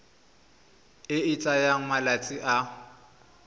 e e tsayang malatsi a